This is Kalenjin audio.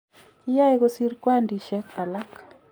Kiyae kosir kwandishek alak